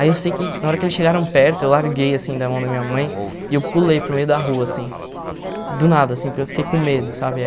Aí eu sei que na hora que eles chegaram perto, eu larguei assim da mão da minha mãe e eu pulei para o meio da rua assim, do nada assim, porque eu fiquei com medo, sabe?